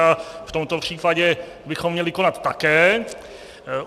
A v tomto případě bychom měli konat také.